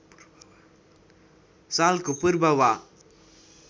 सालको पूर्व वा